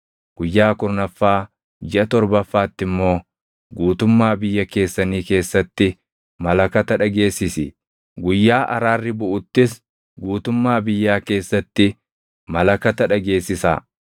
Guyyaa kurnaffaa jiʼa torbaffaatti immoo guutummaa biyya keessanii keessatti malakata dhageessisi; Guyyaa Araarri Buʼuttis guutummaa biyyaa keessatti malakata dhageessisaa.